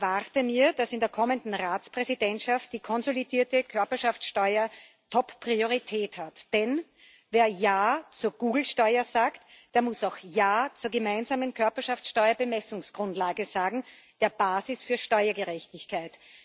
Ich erwarte, dass in der kommenden Ratspräsidentschaft die konsolidierte Körperschaftsteuer Top Priorität hat, denn wer ja zur Google Steuer sagt, der muss auch ja zur gemeinsamen Körperschaftsteuer Bemessungsgrundlage sagen, der Basis für Steuergerechtigkeit.